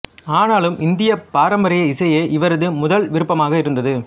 ஆனாலும் இந்திய பாரம்பரிய இசையே இவரது முதல் விருப்பமாக இருந்தது